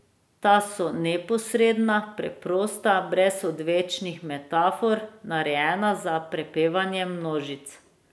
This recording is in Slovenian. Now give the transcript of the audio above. Ta so neposredna, preprosta, brez odvečnih metafor, narejena za prepevanje množic.